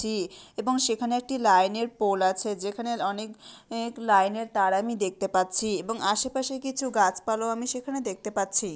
টি এবং সেখানে একটি লাইনের পোল আছে যেখানে অনেক এক লাইনের তার আমি দেখতে পাচ্ছি-ই এবং আশেপাশে কিছু গাছপালাও আমি সেখানে দেখতে পাচ্ছি।